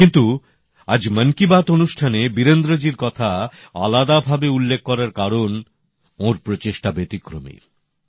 কিন্তু আজ মন কি বাত অনুষ্ঠানে বীরেন্দ্রজীর কথা আলাদা ভাবে উল্লেখ কারণ ওঁর প্রচেষ্টা ব্যতিক্রমী